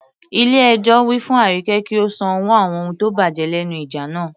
Ilé ẹjọ́ wí fún Arike kí ó san owó àwọn ohun tó bàjẹ́ lẹ́nu ìjà náà.